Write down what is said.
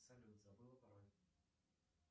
салют забыл пароль